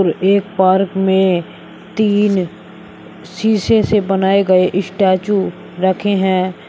एक पार्क में तीन शीशे से बनाए गए स्टैचू रखे हैं।